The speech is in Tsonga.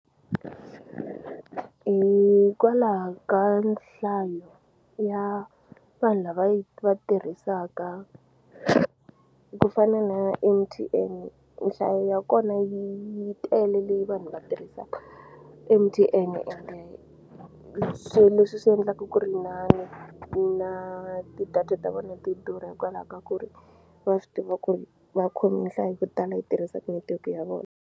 Hikwalaha ka nhlayo ya vanhu lava yi va tirhisaka ku fana na M_T_N nhlayo ya kona yi tele leyi vanhu va tirhisaka M_T_N ende hi swo leswi swi endlaka ku ri na na na ti-data ta vona ti durha hikwalaho ka ku ri va swi tiva ku ri vakhomi nhlayo yo tala yi tirhisaku netiweke ya vona